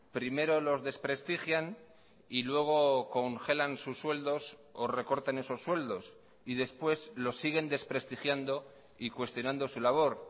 primero los desprestigian y luego congelan sus sueldos o recortan esos sueldos y después los siguen desprestigiando y cuestionando su labor